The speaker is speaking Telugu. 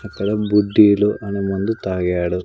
అక్కడ బుడ్డీలు అని మందు తాగాడు.